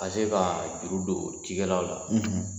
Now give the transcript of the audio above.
Ka se ka juru don cikɛlaw la.